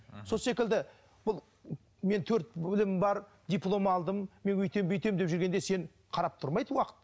сол секілді бұл менің төрт білімім бар диплом алдым мен өйтемін бүйтемін деп жүргенде сен қарап тұрмайды уақыт